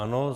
Ano.